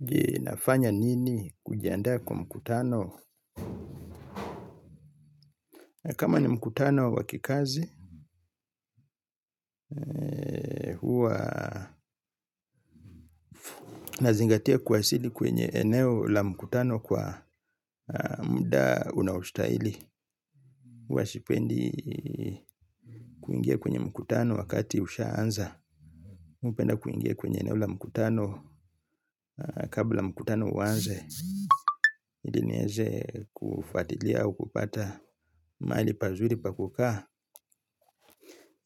Je, nafanya nini kujiandaa kwa mkutano? Kama ni mkutano wakikazi, huwa nazingatia kuwasili kwenye eneo la mkutano kwa muda unaostahili. Huwa sipendi kuingia kwenye mkutano wakati ushaanza. Mi hupenda kuingia kwenye eneo la mkutano kabla mkutano uanze. Ili nieze kufuatilia au kupata mahali pazuri pa kukaa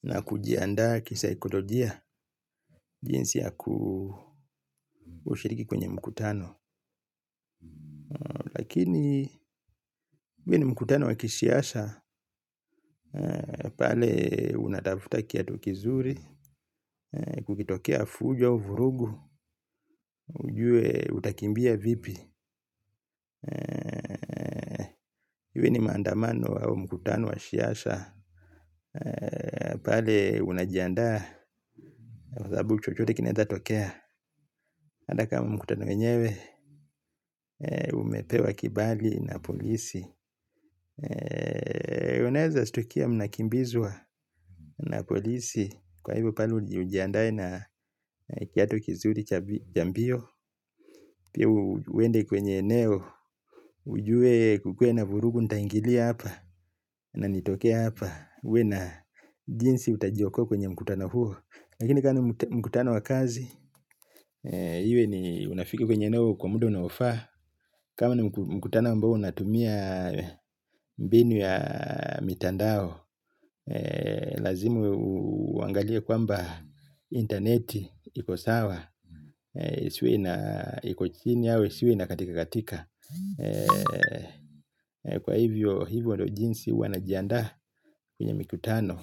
na kujiandaa kisaikolojia jinsi ya kushiriki kwenye mkutano. Lakini, hivi ni mkutano wa kisiasa, pale unatafuta kiatu kizuri, kukitokea fujo, vurugu, ujue utakimbia vipi. Iwe ni maandamano au mkutano wa siasa pale unajiandaa kwa sababu chochote kinawezatokea hata kama mkutano wenyewe umepewa kibali na polisi unaweza shtukia mnakimbizwa na polisi wa hivyo pale ujiandae na kiatu kizuri cha mbio. Pia uende kwenye eneo ujue kukue na vurugu nitaingilia hapa. Na nitokee hapa uwe na jinsi utajiokoa kwenye mkutano huo lakini kama ni mkutano wa kazi hiyo ni unafika kwenye eneo kwa muda unaofaa kama ni mkutano ambao unatumia mbinu ya mitandao lazima uangalia kwamba intaneti iko sawa isiwe na iko chini au isiwe ina katika katika, kwa hivyo, hivyo ndio jinsi huwa najiandaa kwenye mikutano.